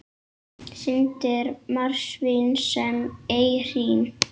Syndir marsvín sem ei hrín.